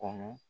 Kɔnɔ